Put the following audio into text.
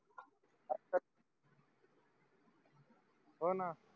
होना